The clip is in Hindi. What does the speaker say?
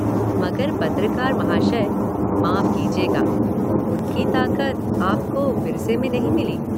मगर पत्रकार महाशय, माफ़ कीजिएगा, उनकी ताकत आपको विरसे में नहीं मिली।